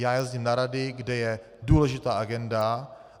Já jezdím na rady, kde je důležitá agenda.